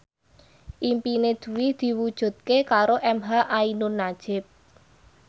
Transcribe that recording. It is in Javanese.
impine Dwi diwujudke karo emha ainun nadjib